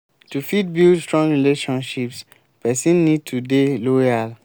to fit build strong friendships person need to dey loyal